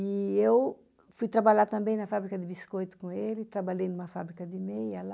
E eu fui trabalhar também na fábrica de biscoito com ele, trabalhei em uma fábrica de meia lá.